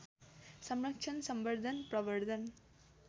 संरक्षण संवर्दन प्रवर्दन